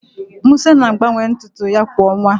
Musa na-agbanwe ntụ ntụ ya kwa ọnwa